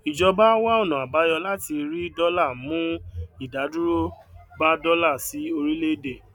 ìjọba wá ọnà àbáyọ láti rí dọlà mú ìdádúró bá dọlà sí orílẹèdè